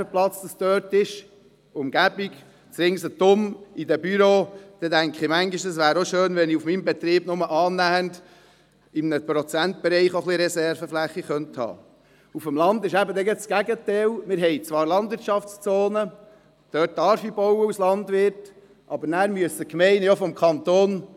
Wenn man die Umgebungen der Agglomerationen anschaut, auch Bereiche ausserhalb der Bauzonen, zeigt es sich, dass fast alles möglich ist.